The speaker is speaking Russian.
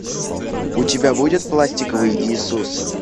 у тебя будет пластиковый иисус